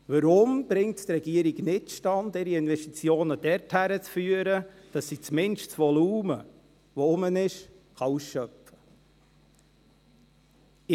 Warum bringt es die Regierung nicht zustande, ihre Investitionen dorthin zu führen, dass sie zumindest das Volumen, welches vorhanden ist, ausschöpfen kann?